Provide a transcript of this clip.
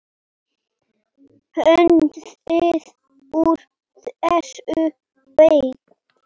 Hnoðið úr þessu deig.